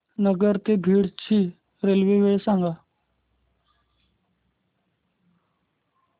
नगर ते बीड ची रेल्वे वेळ सांगा